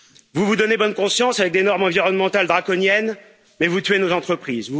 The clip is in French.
Vous vous donnez bonne conscience avec des normes environnementales draconiennes, mais vous tuez nos entreprises.